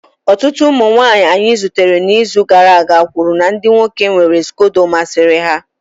Ọtụtụ ụmụ nwanyị anyị zutere n'izu gara aga kwuru na ndị nwoke nwere scodo masịrị ha